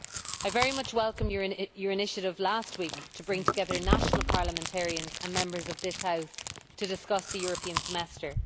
I very much welcome your initiative last week to bring together national parliamentarians and Members of this House to discuss the European Semester.